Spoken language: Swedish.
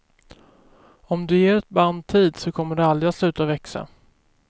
Om du ger ett band tid så kommer det aldrig sluta växa.